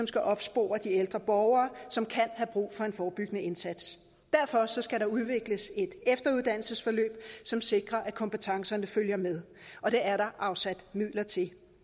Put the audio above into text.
skal opspore de ældre borgere som kan have brug for en forebyggende indsats derfor skal der udvikles et efteruddannelsesforløb som sikrer at kompetencerne følger med og det er der afsat midler til